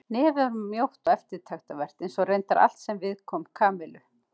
Nefið var mjótt og eftirtektarvert eins og reyndar allt sem viðkom Kamillu.